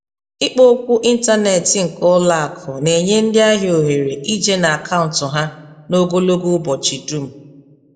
Ikpokwu ịntanetị nke ụlọakụ na-enye ndị ahịa ohere ije n'akaụntụ ha n'ogologo ụbọchị dum.